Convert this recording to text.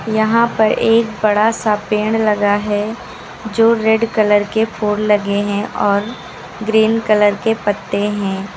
यहां पर एक बड़ा सा पेड़ लगा है जो रेड कलर के फूल लगे हैं और ग्रीन कलर के पत्ते हैं।